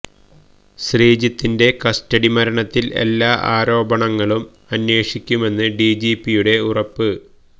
ശ്രീജിത്തിന്റെ custody മരണത്തില് എല്ലാ ആരോപണങ്ങളും അന്വേഷിക്കുമെന്ന് ഡിജിപിയുടെ ഉറപ്പ്